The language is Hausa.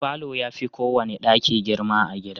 Falo ya fi kowane daki girma a gida.